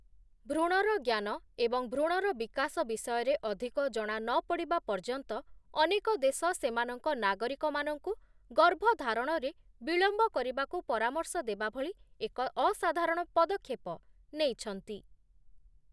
ଭ୍ରୁଣର ଜ୍ଞାନ ଏବଂ ଭ୍ରୁଣର ବିକାଶ ବିଷୟରେ ଅଧିକ ଜଣା ନ ପଡ଼ିବା ପର୍ଯ୍ୟନ୍ତ ଅନେକ ଦେଶ ସେମାନଙ୍କ ନାଗରିକମାନଙ୍କୁ ଗର୍ଭଧାରଣରେ ବିଳମ୍ବ କରିବାକୁ ପରାମର୍ଶ ଦେବା ଭଳି ଏକ ଅସାଧାରଣ ପଦକ୍ଷେପ ନେଇଛନ୍ତି ।